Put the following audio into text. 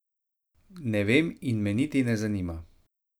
Ne vem in me niti ne zanima.